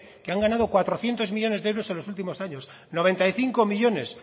que han ganado cuatrocientos millónes de euros en los últimos años noventa y cinco millónes